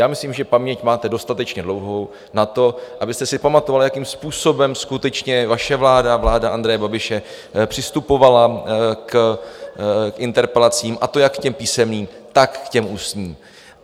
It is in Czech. Já myslím, že paměť máte dostatečně dlouhou na to, abyste si pamatovala, jakým způsobem skutečně vaše vláda, vláda Andreje Babiše, přistupovala k interpelacím, a to jak k těm písemným, tak k těm ústním.